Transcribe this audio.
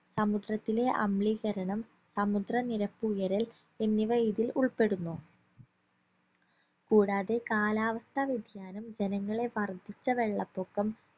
സമുദ്രത്തിലെ അംളീകരണം സമുദ്ര നിരപ്പ് ഉയരൽ എന്നിവ ഇതിൽ ഉൾപ്പെടുന്നു കൂടാതെ കാലാവസ്ഥാ വ്യതിയാനം ജനങ്ങളെ വർദ്ധിച്ച വെള്ളപ്പൊക്കം